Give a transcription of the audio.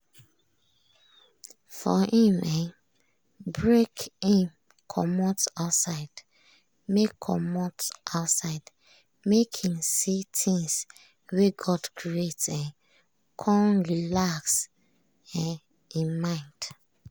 for him um break him comot outside make comot outside make him see things wey god create um con relax um im mind.